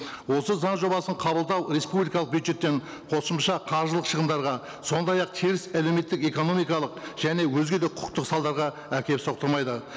осы заң жобасын қабылдау республикалық бюджеттен қосымша қаржылық шығындарға сондай ақ теріс әлеуметтік экономикалық және өзге де құқықтық салдарға әкеліп соқтырмайды